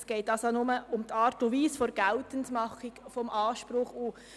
Es geht nur um die Art und Weise der Geltendmachung des Anspruchs.